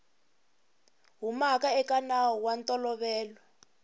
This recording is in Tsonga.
humaka eka nawu wa ntolovelo